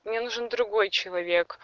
мне нужен другой человек